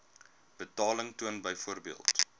betaling toon byvoorbeeld